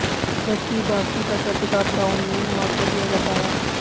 जबकि बाकि प्राकृतिक आपदाओं में मुआवजा दिया जाता है